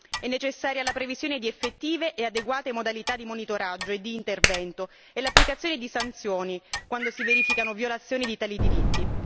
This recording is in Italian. È necessaria la previsione di effettive e adeguate modalità di monitoraggio e di intervento e l'applicazione di sanzioni quando si verificano violazioni di tali diritti.